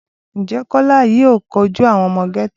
Ǹjẹ́ Kọ́lá yìí le kojú àwọn ọmọ gẹ́tò?